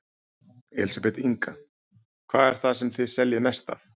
Elísabet Inga: Hvað er það sem þið seljið mest af?